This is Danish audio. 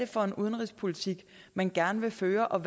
for en udenrigspolitik man gerne vil føre og